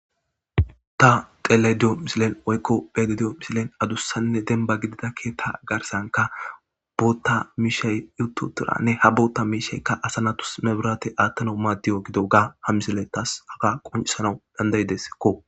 Ta dhelayda diyo missiliyan woyko be'ayda diyo missiliyan adusanne demba gidida ketha garsankka botha mishay utitiraganne ha bota mishayka asa natus mebrate atanaw madiyoga gidoga ha missiley tas haga qonc'isanw danda'desko.